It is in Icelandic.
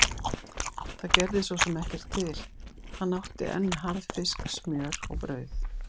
Það gerði svo sem ekkert til, hann átti enn harðfisk, smjör og brauð.